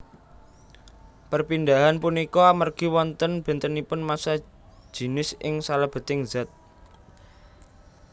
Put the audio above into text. Perpindahan punika amergi wonten bentenipun massa jinis ing salebeting zat